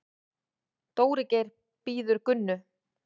Dóri Geir bíður Gunnu.